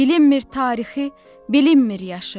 Bilinmir tarixi, bilinmir yaşı.